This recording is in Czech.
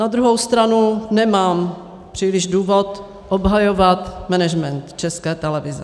Na druhou stranu nemám příliš důvod obhajovat management České televize.